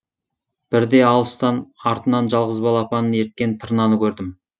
бірде алыстан артынан жалғыз балапанын ерткен тырнаны көрдім